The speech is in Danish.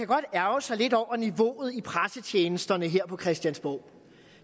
godt ærgre sig lidt over niveauet i pressetjenesterne her på christiansborg